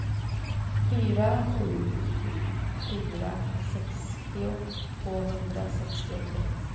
fyra sju sju fyra sextio tvåhundrasextiotre